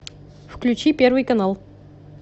включи первый канал